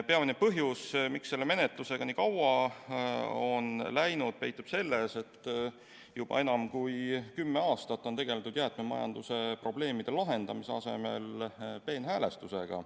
Peamine põhjus, miks menetlusega nii kaua on läinud, peitub selles, et juba enam kui kümme aastat on tegeldud jäätmemajanduse probleemide lahendamise asemel peenhäälestusega.